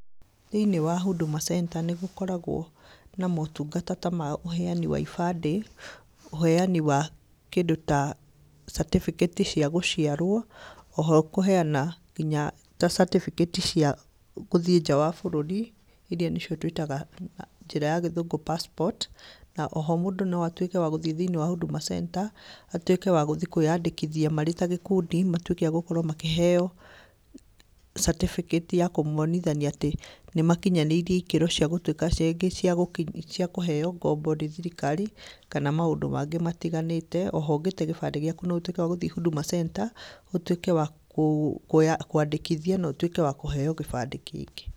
Thĩ-inĩ wa huduma centre nĩgũkoragwo na motungata ta ma ũheani wa ibandĩ, ũheani wa kĩndũ ta certificate cia gũciarwo, oho kũheana nginyata certificate cia, gũthiĩ nja wa bũrũri, iria nĩcio twĩtaga njĩra ya gĩthũngũ passport na oho mũndũ noatwĩke wa gũthiĩ thĩ-inĩ wa huduma centre, atwĩke wa gũthiĩ kwĩyandĩkithia marĩ ta gĩkundi matwĩke a gũkorwo makĩheo certificate ya kũmonithania atĩ nĩmakinyanĩirie ikĩro cia gũtwĩka ciaingĩ cia kũheo ngombo nĩ thirikari, kana maũndũ mangĩ matiganĩte, oho ũngĩte gĩbandĩ gĩaku noũtwĩke wa gũthii huduma centre, ũtwĩke wa kũ kũandĩkithio notwĩke wa kũheo kĩbandĩ kĩngĩ.